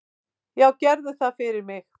"""Já, gerðu það fyrir mig!"""